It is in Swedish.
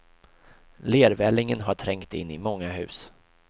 Lervällingen har trängt in i många hus.